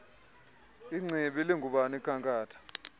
ingcibi lingubani ikhankatha